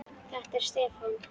Þetta er Stefán.